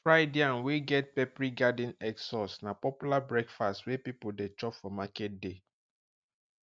fried yam wey get peppery garden egg sauce na popular breakfast wey people dey chop for market day